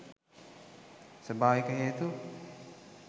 ස්වභාවික හේතු